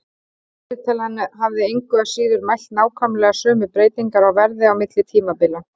Vísitalan hefði engu að síður mælt nákvæmlega sömu breytingar á verði á milli tímabila.